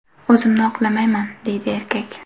O‘zimni oqlamayman”, deydi erkak.